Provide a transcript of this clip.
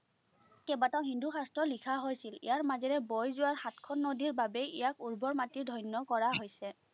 কেবাটাও হিন্দু শাস্ত্ৰ লিখা হৈছিল। ইয়াৰ মাজেৰে বৈ যোৱা সাতখন নদীৰবাবে ইয়াক উৰ্বৰ মাটিৰ ধন্য কৰা হৈছে।